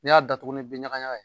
Ni y'a datugu ni bin ɲagaɲaga ye.